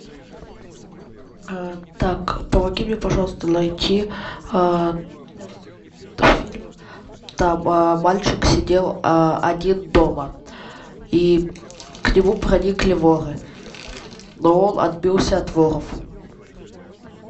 так помоги мне пожалуйста найти фильм там мальчик сидел один дома и к нему проникли воры но он отбился от воров